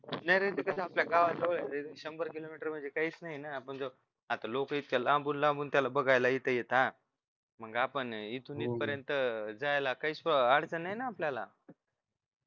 नाही रे ते कस आता आपल्या गावा जवळ आहे शंभर किलोमीटर म्हणजे काहीच नाही ना आपण आता लोक इतक्या लांबून लांबून त्याला बघायला इथं येता मग आपण इथून इथपर्यंत जायला काहीच अडचण नाही ना आपल्याला